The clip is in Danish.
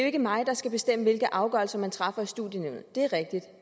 ikke mig der skal bestemme hvilke afgørelser man træffer i studienævnet det er rigtigt